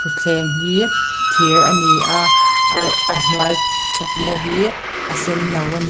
thutthleng hi thir ani a arh a hnuai thutna hi a senno ani.